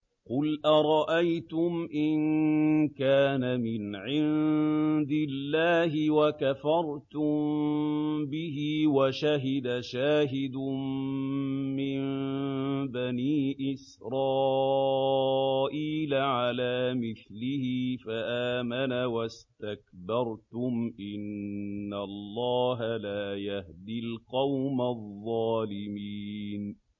قُلْ أَرَأَيْتُمْ إِن كَانَ مِنْ عِندِ اللَّهِ وَكَفَرْتُم بِهِ وَشَهِدَ شَاهِدٌ مِّن بَنِي إِسْرَائِيلَ عَلَىٰ مِثْلِهِ فَآمَنَ وَاسْتَكْبَرْتُمْ ۖ إِنَّ اللَّهَ لَا يَهْدِي الْقَوْمَ الظَّالِمِينَ